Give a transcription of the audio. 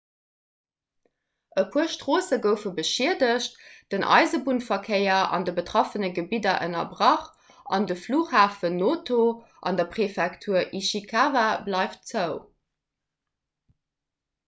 e puer stroosse goufe beschiedegt den eisebunnverkéier an de betraffene gebidder ënnerbrach an de flughafen noto an der präfektur ishikawa bleift zou